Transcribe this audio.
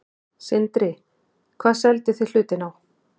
Sindri: Hvað selduð þið hlutinn á?